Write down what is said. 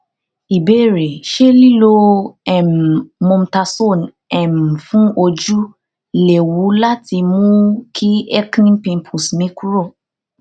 ìbéèrè ṣé liló um mometasone um fun ojú léwu láti mú kí acne pimples mi kúrò